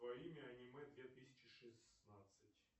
твое имя аниме две тысячи шестнадцать